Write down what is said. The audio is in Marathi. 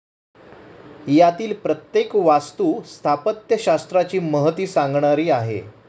यातील प्रत्येक वास्तु स्थापत्यशास्त्राची महती सांगणारी आहे.